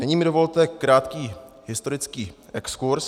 Nyní mi dovolte krátký historický exkurz.